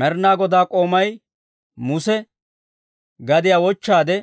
Med'ina Godaa k'oomay Muse gadiyaa wochchaade